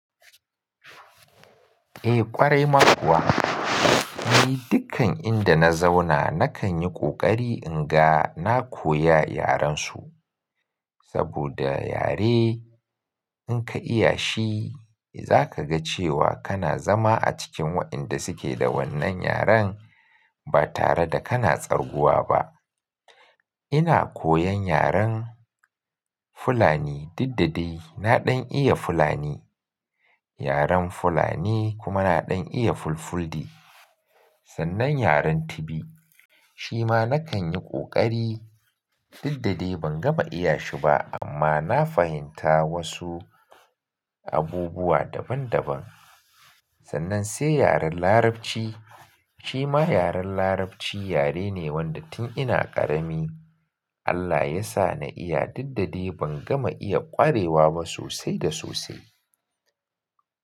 Eh ƙwarai ma kuwa. Ni dukkan inda na zauna nakan yi ƙoƙari in ga na koya yaren su. Saboda yare in ka iya shi, za ka ga cewa kana zama a cikin wa'yanda suke da wannan yaren ba tare da kana tsarguwa ba. Ina koyan yaren Fulani diddadai. Na ɗan iya Fulani. Yaren Fulani kuma na ɗan iya Fulfulde. Sannan yaren Tibi, shi ma na kan yi ƙoƙari diddade ban gama iya shi ba amma na fahimta wosu abubuwa daban daban. Sannan sai yaren Larabci, shi ma yaren Larabci yare ne wanda tun ina ƙarami Allah ya sa na iya diddade ban gama iya ƙwarewa ba sosai da sosai.